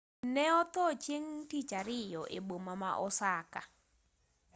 ne otho chieng' tich ariyo e boma ma osaka